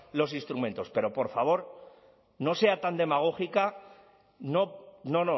los instrumentos pero por favor no sea tan demagógica no no